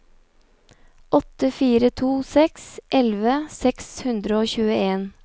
åtte fire to seks elleve seks hundre og tjueen